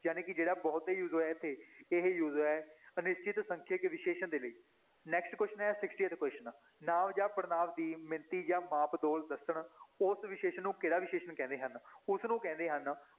ਜਾਣੀ ਕਿ ਜਿਹੜਾ ਬਹੁਤੇ use ਹੋਇਆ ਇੱਥੇ, ਇਹ use ਹੋਇਆ ਹੈ ਅਨਿਸ਼ਚਿਤ ਸੰਖਿਅਕ ਵਿਸ਼ੇਸ਼ਣ ਦੇ ਲਈ next question ਹੈ sixtieth question ਨਾਂਵ ਜਾਂ ਪੜ੍ਹਨਾਂਵ ਦੀ ਮਿਣਤੀ ਜਾਂ ਮਾਪ ਦ ਦੱਸਣ ਉਸ ਵਿਸ਼ੇਸ਼ਣ ਨੂੰ ਕਿਹੜਾ ਵਿਸ਼ੇਸ਼ਣ ਕਹਿੰਦੇ ਹਨ, ਉਸਨੂੰ ਕਹਿੰਦੇ ਹਨ